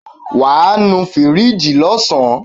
Wàá nu fíríjì lọ́sàn.